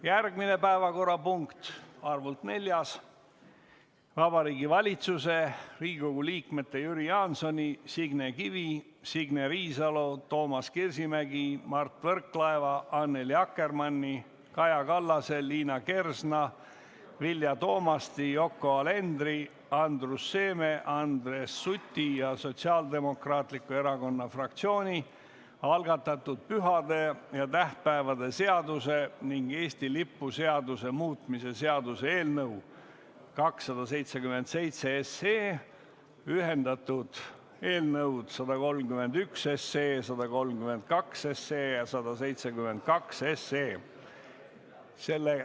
Järgmine, neljas päevakorrapunkt on Vabariigi Valitsuse, Riigikogu liikmete Jüri Jaansoni, Signe Kivi, Signe Riisalo, Toomas Kivimägi, Mart Võrklaeva, Annely Akkermanni, Kaja Kallase, Liina Kersna, Vilja Toomasti, Yoko Alenderi, Andrus Seeme ja Andres Suti ning Sotsiaaldemokraatliku Erakonna fraktsiooni algatatud pühade ja tähtpäevade seaduse ning Eesti lipu seaduse muutmise seaduse eelnõu 277 .